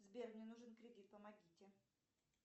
сбер мне нужен кредит помогите